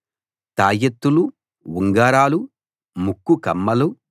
తాయెత్తులు ఉంగరాలు ముక్కు కమ్మలు